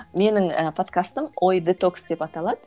менің і подкастым ой детокс деп аталады